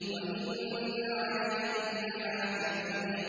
وَإِنَّ عَلَيْكُمْ لَحَافِظِينَ